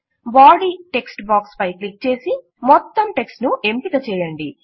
body text box పై click చేసి మొత్తం టెక్ట్స్ ను ఎంపిక చేయండి